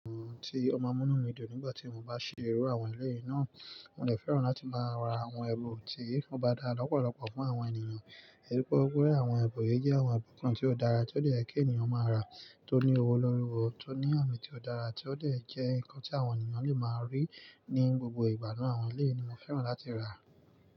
Òun tí oma n mú inu mí dùn nígbà tí mo bá ṣe irú àwọn ilé yìí náà, mo dè fẹ́ràn láti máa ra àwọn ẹbùn tí o bá dá lọ́pọ̀lọpọ̀ fún àwọn ènìyàn. Èyí pé òwúrọ̀ àwọn ẹbùn yìí jẹ́ àwọn ẹ̀bùn kan tí ó dára tí ó de yè kí ènìyàn máa rà, tó ní owó lórí ọwọ́, tó ní àmì tí ó dára tí ó dè jẹ́ nǹkan tí àwọn ènìyàn lè máa rí ní gbogbo ìgbà náà. Àwọn ilé yìí ni mo fẹ́ràn láti rà.